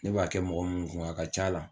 Ne b'a kɛ mɔgɔ minnu kun a ka ca la,